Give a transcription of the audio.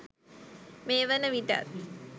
මේ වන විටත්